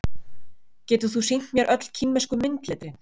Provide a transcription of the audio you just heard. Getur þú sýnt mér öll kínversku myndletrin?